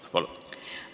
Palun!